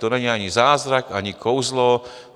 To není ani zázrak, ani kouzlo.